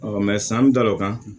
san bɛ da o kan